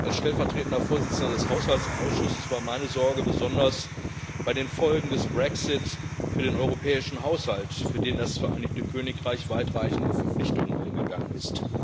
Als stellvertretender Vorsitzender des Haushaltsausschusses galt meine Sorge besonders den Folgen des Brexit für den europäischen Haushalt, für den das Vereinigte Königreich weitreichende Verpflichtungen eingegangen ist.